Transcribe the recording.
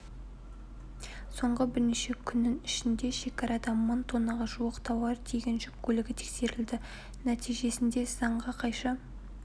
соңғы бірнеше күннің ішінде шекарада мың тоннаға жуық тауар тиеген жүк көлігі тексерілді нәтижесінде заңға қайшы